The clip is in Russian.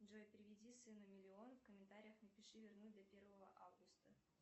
джой переведи сыну миллион в комментариях напиши вернуть до первого августа